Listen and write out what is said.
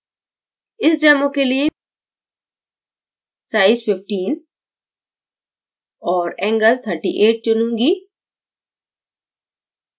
इस demo के लिये size 15 और angle 38 चुनूँगी